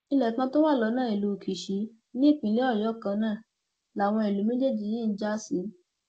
ilé kan tó wà lọnà ìlú kíṣì ní ìpínlẹ ọyọ kan náà làwọn ìlú méjèèjì yìí ń já sí